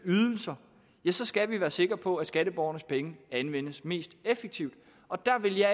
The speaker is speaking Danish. ydelser skal vi være sikre på at skatteborgernes penge anvendes mest effektivt og der vil jeg